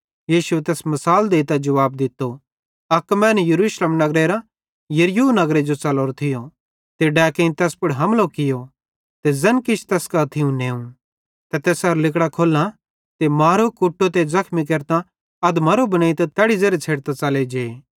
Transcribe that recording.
यीशुए तैस मिसाल देइतां जुवाब दित्तो अक मैनू यरूशलेम नगरेरां यरीहो नगरे जो च़लोरो थियो ते तै डैकेइं तैस पुड़ हमलो कियो ते ज़ैन किछ तैस कां थियूं नेव ते तैसेरां लिगड़ां खोल्लां ते मारो कुट्टो ते ज़ख्मी केरतां अधमरो बनेइतां तैड़ी ज़ेरे छ़डतां च़ले जे